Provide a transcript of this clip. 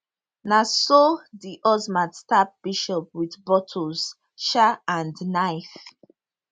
na so di husband stab bishop wit bottles um and knife